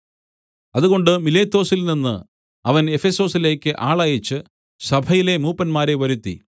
അതുകൊണ്ട് മിലേത്തൊസിൽനിന്ന് അവൻ എഫെസൊസിലേക്ക് ആളയച്ച് സഭയിലെ മൂപ്പന്മാരെ വരുത്തി